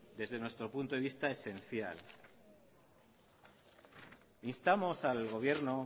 desde nuestro punto de vista esencial instamos al gobierno